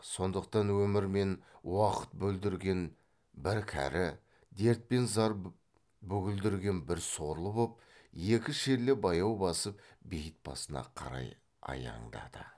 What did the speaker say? сондықтан өмір мен уақыт бүлдірген бір кәрі дерт пен зар бүгілдірген бір сорлы боп екі шерлі баяу басып бейіт басына қарай аяңдады